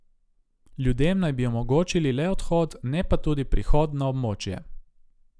Ljudem naj bi omogočili le odhod, ne pa tudi prihod na območje.